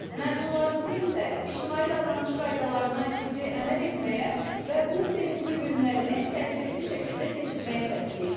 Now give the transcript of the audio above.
Məzunlarımızı isə ictimai davranış qaydalarına ciddi əməl etməyə və bu sevincli günlərini təhlükəsiz şəkildə keçirməyə səsləyirik.